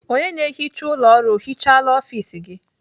Onye na-ehicha ụlọ ọrụ ọ hicahala ọfis gị?